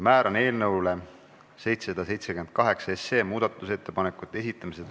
Määran eelnõu 778 muudatusettepanekute esitamise tähtajaks 2019. aasta 7. jaanuari kell 17.15.